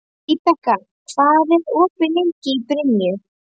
Vibeka, hvað er opið lengi í Brynju?